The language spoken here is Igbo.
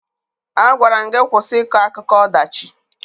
Agwara m gị kwụsị ịkọ akụkọ ọdachi!